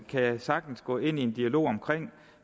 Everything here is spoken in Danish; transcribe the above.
jeg sagtens gå ind i en dialog om